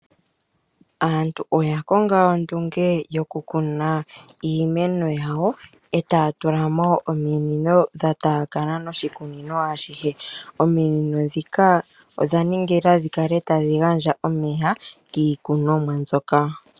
Aantu oya longa ondunge yokukuna iimeno yawo e taya tula mo ominino dha taakana noshikunino ashihe. Ominino ndhika odha ningilwa dhi kale tadhi gandja omeya kiikunomwa mbyoka.